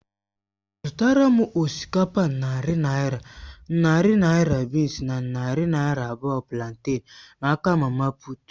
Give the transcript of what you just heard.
Zụtàra m osikapa narị naira, narị naira bịịns na narị naira abụọ planten n'aka mama puut.